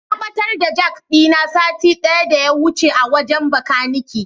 Na ɓatar da jak ɗina sati ɗaya daya wuce a wajen Bakanike.